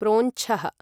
प्रोञ्छः